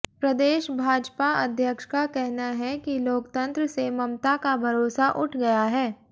प्रदेश भाजपा अध्यक्ष का कहना है कि लोकतंत्र से ममता का भरोसा उठ गया है